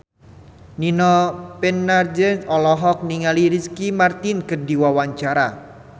Nino Fernandez olohok ningali Ricky Martin keur diwawancara